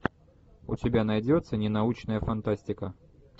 у тебя найдется ненаучная фантастика